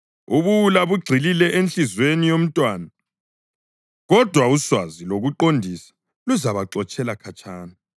Ubuwula bugxilile enhliziyweni yomntwana, kodwa uswazi lokuqondisa luzabuxotshela khatshana.